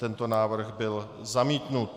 Tento návrh byl zamítnut.